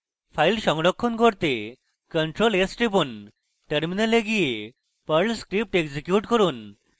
file সংরক্ষণ ctrl + s টিপুন terminal গিয়ে perl script execute করুন